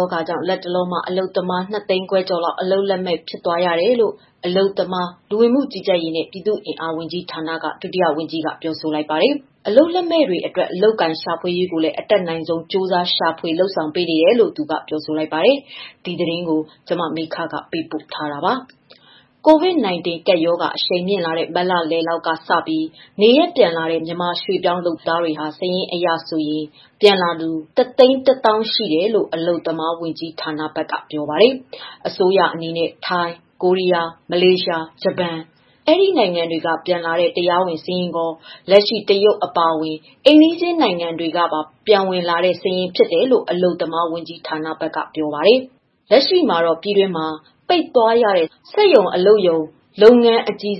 ောဂါကြောင့် လတ်တလောမှာ အလုပ်သမား ၂ သိန်းခွဲကျော်လောက် အလုပ်လက်မဲ့ ဖြစ်သွားရတယ်လို့ အလုပ်သမား၊ လူဝင်မှုကြီးကြပ်ရေးနဲ့ ပြည်သူ့အင်အား ဝန်ကြီးဌာန ဒုတိယဝန်ကြီးက ပြောဆိုလိုက်ပါတယ်။ အလုပ်လက်မဲ့တွေကို အလုပ်အကိုင် ရှာဖွေရေးကိုလည်း အတတ်နိုင်ဆုံး ရှာဖွေလုပ်ဆောင်ပေးနေတယ်လို့ သူက ပြောဆိုလိုက်ပါတယ်။ အပြည့်အစုံကို မမေခ တင်ပြပေးထားပါတယ်။ COVID-19 ကပ်ရောဂါ အရှိန်မြင့်လာတဲ့ မတ်လလောက်ကစပြီး နေရပ်ပြန်လာတဲ့ မြန်မာရွှေ့ပြောင်းလုပ်သားတွေဟာ စာရင်းအရဆို ပြန်လာသူ ၁၁၀,၀၀၀ ရှိတယ်လို့ အလုပ်သမားဝန်ကြီးဌာနဘက်က ပြောပါတယ်။ အစိုးရအနေနဲ့ ထိုင်း၊ ကိုရီးယား၊ မလေးရှား၊ ဂျပန် ဒီနိုင်ငံတွေကပြန်လာတဲ့ တရားဝင်စာရင်းရော လက်ရှိ တရုတ် အပါအဝင် အိမ်နီးချင်းနိုင်ငံတွေကပါ ပြန်ဝင်လာတဲ့စာရင်း ဖြစ်တယ်လို့ အလုပ်သမားဝန်ကြီးဌာနက ပြောပါတယ်။ လက်ရှိ ပြည်တွင်းမှာ ပိတ်သွားရတဲ့ စက်ရုံ အလုပ်ရုံကြီး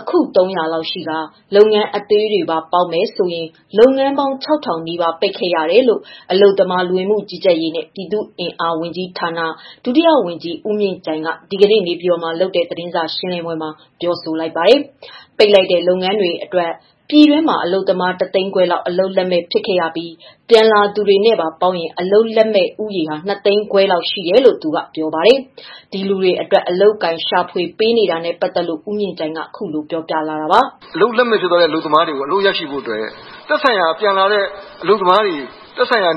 အခု ၃၀၀ လောက်ရှိကာ လုပ်ငန်းအသေးတွေပါ ပေါင်းမယ်ဆိုရင် လုပ်ငန်းပေါင်း ၆,၀၀၀ နီးပါး ပိတ်ခဲ့ရတယ်လို့ အလုပ်သမား၊ လူဝင်မှုကြီးကြပ်ရေးနဲ့ ပြည်သူ့အင်အား ဝန်ကြီးဌာန ဒုတိယဝန်ကြီး ဦးမြင့်ကြိုင်က ဒီကနေ့ နေပြည်တော်မှာလုပ်တဲ့ သတင်းစာရှင်းလင်းပွဲမှာ အခုလို ပြောဆိုလိုက်တာပါ။ ပိတ်လိုက်တဲ့ လုပ်ငန်းတွေအတွက် ပြည်တွင်းမှာ အလုပ်သမား ၁ သိန်းခွဲလောက် အလုပ်လက်မဲ့ ဖြစ်ခဲ့ရပြီး ပြန်လာသူတွေနဲ့ပါ ပေါင်းရင် အလုပ်လက်မဲ့ဦးရေ ၂ သိန်းခွဲလောက် ရှိတယ်လို့ ပြောပါတယ်။ ဒီလူတွေအတွက် အလုပ်အကိုင် ရှာဖွေပေးနေတာနဲ့ ပတ်သက်လို့ ဦးမြင့်ကြိုင်က ခုလိုပြောပြပါတယ်။ “အလုပ်လက်မဲ့ ဖြစ်သွားတဲ့ အလုပ်သမားတွေ အလုပ်ရရှိဖို့ သက်ဆိုင်ရာ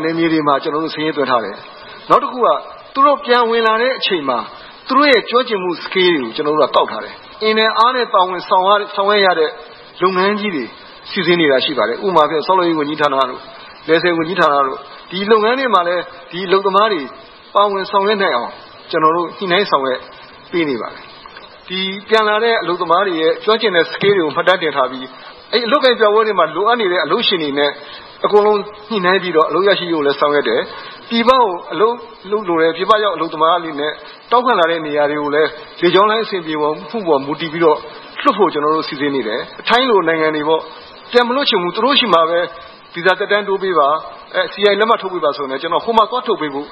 နယ်မြေတွေမှာ စာရင်းသွင်းထားတယ်။ နောက် သူတို့ ပြန်ဝင်လာတဲ့အချိန်မှာ သူတို့ရဲ့ ကျွမ်းကျင်မှုတွေကို ကောက်ထားတယ်။ အင်နဲ့အားနဲ့ ပါဝင် ဆောင်ရွက်ရတဲ့ လုပ်ငန်းကြီးတွေ စီစဉ်နေတာရှိပါတယ်။ ဥပမာ ဆောက်လုပ်ရေးဝန်ကြီးဌာနတို့၊ လယ်ဆည်ဝန်ကြီးဌာနတို့၊ ဒီလုပ်ငန်းတွေမှာလည်း အလုပ်သမားတွေ ပါဝင်ဆောင်ရွက်နိုင်အောင် ညှိနှိုင်း ဆောင်ရွက်ပေးနေပါတယ်။ ပြန်လာတဲ့ အလုပ်သမားတွေရဲ့ ကျွမ်းကျင်တဲ့ Skills တွေကို မှတ်တမ်းတင်ထားပြီး အလုပ်အကိုင်ပြပွဲတွေမှာ လိုအပ်နေတဲ့ အလုပ်ရှင်တွေနဲ့ ညှိနှိုင်းပြီး အလုပ်ရရှိရေး ဆောင်ရွက်တယ်။ “ပြည်ပကို အလုပ်လုပ်လိုတယ်၊ ပြည်ပရောက် အလုပ်သမားအနေနဲ့ တောင်းခံလာတဲ့ နေရာတွေကိုလည်း လေကြောင်းလိုင်း အဆင်ပြေတဲ့ပေါ် မူတည်ပြီးတော့ လွှတ်ဖို့ ကျနော်တို့ စီစဉ်နေတယ်။ ထိုင်းလိုနိုင်ငံတွေ ပြန်မလွှတ်ချင်ဘူး၊ သူတို့ဆီမှာပဲ ဗီဇာသက်တမ်းတိုးပေးပါ၊ စီအိုင်လက်မှတ် ထုတ်ပေးပါဆိုလည်း ဟိုမှာ သွားထုတ်ပေးဖို့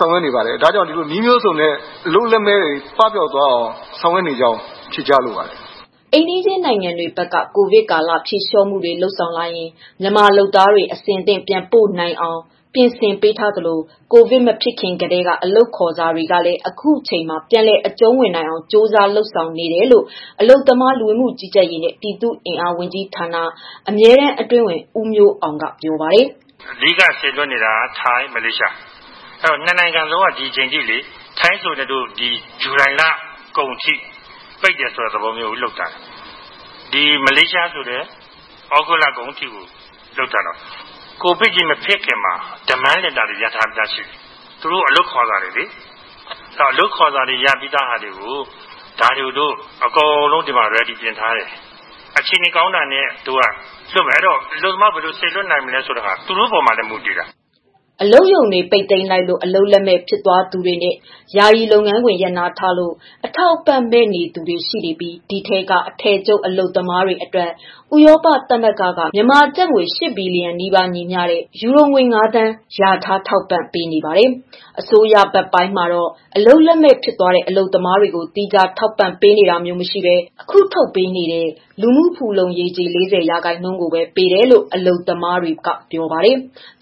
ဆောင်ရွက်နေပါတယ်။ နည်းမျိုးစုံနဲ့ အလုပ်လက်မဲ့တွေ ပပျောက်သွားအောင် ဆောင်ရွက်နေကြောင်း ဖြေကြားလိုပါတယ်။” အိမ်နီးချင်းနိုင်ငံတွေဘက်က ကိုဗစ်ကာလ ဖြေလျော့မှုတွေ လုပ်ဆောင်လာရင် မြန်မာလုပ်သားတွေ အဆင်သင့် ပြန်ပို့ပေးနိုင်အောင် ပြင်ဆင်ပေးထားသလို ကိုဗစ်မဖြစ်ခင်ကတည်းက ရထားတဲ့ အလုပ်ခေါ်စာတွေကိုလည်း အခုအချိန်မှာ ပြန်လည်အကျုံးဝင်နိုင်ဖို့ ကြိုးစားနေတယ်လို့ အလုပ်သမား၊ လူဝင်မှုကြီးကြပ်ရေးနှင့် ပြည်သူ့အင်အား ဝန်ကြီးဌာန အမြဲတမ်းအတွင်းဝန် ဦးမျိုးအောင်က ပြောပါတယ်။ “အဓိကစေလွှတ်နေတာက ထိုင်း၊ မလေးရှား။ နှစ်နိုင်ငံလုံးက ဒီချိန်ထိ ထိုင်းဆိုလည်း ဒီဇူလိုင်လကုန်ထိ ပိတ်တယ်ဆိုတဲ့သဘော လုပ်ထားတယ်။ မလေးရှားဆိုလည်း ဩဂုတ်လကုန်ထိ လုပ်ထားတယ်။ ကိုဗစ်မဖြစ်ခင်မှာ Demand Letter တွေ ရထားပြီးသားရှိတယ်၊ သူတို့ အလုပ်ခေါ်စာတွေ ရပြီးသားဟာတွေကို ဒီမှာ အကုန်လုံး အဆင်သင့်ပြင်ထားတယ်။ အခြေအနေကောင်းတာနဲ့ လွှတ်မယ်။ အဲတော့ အလုပ်သမား ဘယ်လိုစေလွှတ်နိုင်မလဲဆိုတာ သူတို့ပေါ်မှာလည်း မူတည်တယ်။” အလုပ်ရုံတွေ ပိတ်သိမ်းလိုက်လို့ အလုပ်လက်မဲ့ ဖြစ်သွားသူတွေနဲ့ ယာယီ လုပ်ငန်းခွင် ရပ်နားထားလို့ အထောက်အပံ့ မဲ့နေသူတွေရှိနေပြီး ဒီထဲက အထည်ချုပ် အလုပ်သမားတွေအတွက် ဥရောပသမဂ္ဂကနေ မြန်မာကျပ်ငွေ ၈ ဘီလီယံနီးပါး ညီမျှတဲ့ ယူရိုငွေ ၅ သန်း လျာထား ထောက်ပံ့ပေးနေပါတယ်။ အစိုးရဘက်ပိုင်းမှာတော့ အလုပ်လက်မဲ့ ဖြစ်သွားတဲ့ အလုပ်သမားတွေကို သီးခြား ထောက်ပံ့ပေးနေတာမျိုး မရှိဘဲ အခုထုတ်ပေးနေတဲ့ လူမှုဖူလုံရေးကြေး ၄၀ ရာခိုင်နှုန်းကိုပဲ ပေးတယ်လို့ အလုပ်သမားတွေက ပြောပါတယ်။